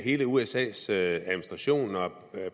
hele usas administration og